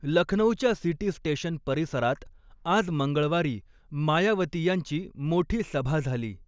लखनौच्या city station परिसरात आज मंगळवारी मायावती यांची मोठी सभा झाली.